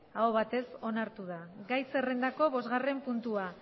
ahobatez onartu da gai zerrendako bosgarren puntua